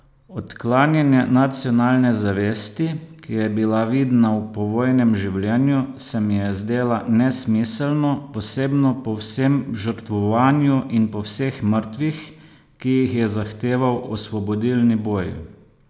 Odklanjanje nacionalne zavesti, ki je bila vidna v povojnem življenju, se mi je zdela nesmiselno, posebno po vsem žrtvovanju in po vseh mrtvih, ki jih je zahteval osvobodilni boj.